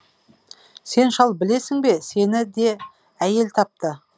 сен шал білесің бе сені де әйел тапты